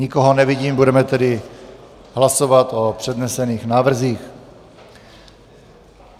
Nikoho nevidím, budeme tedy hlasovat o přednesených návrzích.